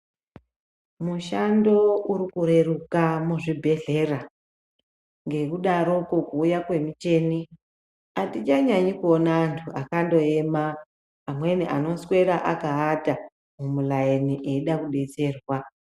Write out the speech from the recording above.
Mushando urikureruka muzvibhedhlera ngekudaroko kuuya kwemicheni hatichanyanyi kuona antu akaema amweni anoswera akaata mumiraini eida kubetserwa .